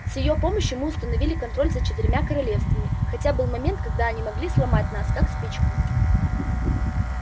с её помощью мы установили контроль за четырьмя королевствами хотя был момент когда они могли сломать нас как спичку